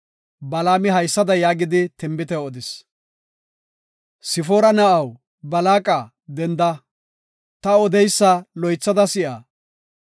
Balaami haysada yaagidi tinbite odis; “Sifoora na7aw, Balaaqa, denda; ta odeysa loythada si7a.